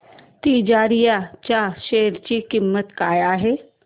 तिजारिया च्या शेअर ची किंमत काय आहे